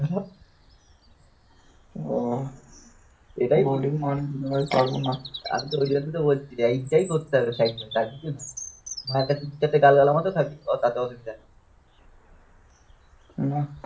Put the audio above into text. ওই জন্যই তো বলছি যাই করতে হবে. আর কিছু না, মায়ের কাছে দু চারটে গাল গালের মতো খাবি তাতে অসুবিধা নেই না